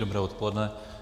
Dobré odpoledne.